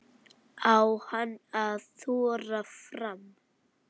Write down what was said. Á hann að þora fram?